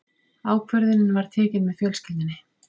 Ákvörðunin var tekin með fjölskyldunni.